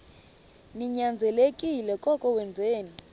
ninyanzelekile koko wenzeni